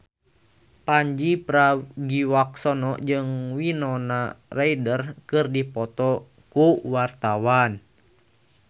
Pandji Pragiwaksono jeung Winona Ryder keur dipoto ku wartawan